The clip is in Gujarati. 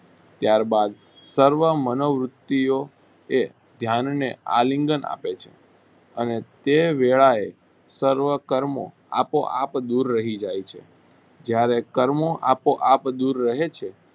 ત્યારબાદ સર્વ મનોવૃતિઓ એ ધ્યાનને આલિંગન આપે છે અને તે વેળાએ સર્વ કર્મો આપોઆપ દૂર રહી જાય છે. જ્યારે કર્મો આપોઆપ દૂર રહે છે